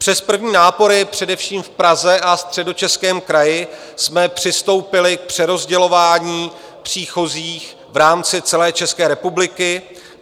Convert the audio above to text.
Přes první nápor především v Praze a Středočeském kraji jsme přistoupili k přerozdělování příchozích v rámci celé České republiky.